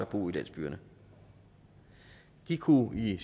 bo i landsbyerne de kunne i